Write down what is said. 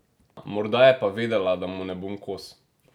Morda je pa vedela, da mu ne bom kos?